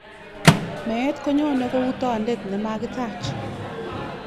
Meet ko nyoni kou tondet ne makitaach.